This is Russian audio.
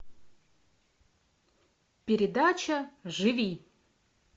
передача живи